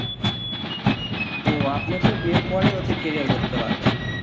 ও আপনি তো বিয়ের পরে হচ্ছে career করতে পারবেন